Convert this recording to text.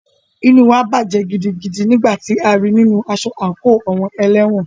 Inú wa bàjẹ́ gidigidi nígbà tí a rí í nínu aṣọ àńkò àwọn ẹlẹ́wọ̀n.